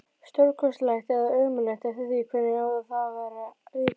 Stórkostlegt eða ömurlegt, eftir því hvernig á það var litið.